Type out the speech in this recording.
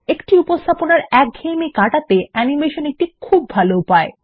একটি উপস্থাপনার একঘ্নেয়েমি কাটাতে অ্যানিমেশন একটি খুব ভালো উপায়